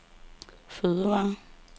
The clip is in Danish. fødevarer